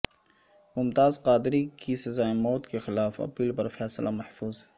ممتاز قادری کی سزائے موت کے خلاف اپیل پر فیصلہ محفوظ